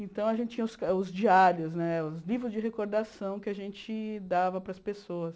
Então, a gente tinha os os diários né, os livros de recordação que a gente dava para as pessoas.